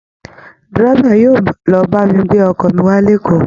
Dẹ́rẹ́bà yóò lọ ba mi gbé ọkọ mi wá lékòó